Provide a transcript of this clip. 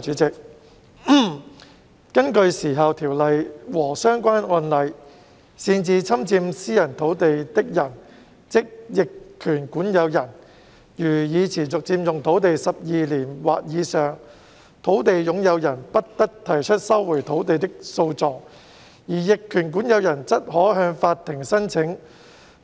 主席，根據《時效條例》和相關案例，擅自侵佔私人土地的人如已持續佔用土地12年或以上，土地擁有人不得提出收回土地的訴訟，而逆權管有人則可向法庭申請